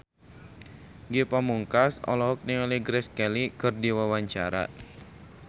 Ge Pamungkas olohok ningali Grace Kelly keur diwawancara